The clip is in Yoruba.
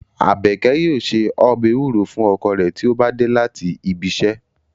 Abeke yoo se ọbẹ ewuro fun ọkọ re ti o ba de lati ibi iṣẹ